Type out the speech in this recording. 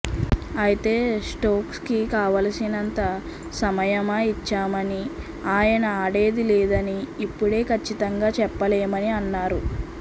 అయితే స్టోక్స్కి కావలసినంత సమయమ ఇచ్చామని ఆయన ఆడేది లేనిది ఇప్పుడే ఖచ్చితంగా చెప్పలేమని అన్నారు